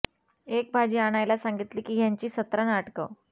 एक भाजी आणायला सांगितली की ह्यांची सतरा नाटकं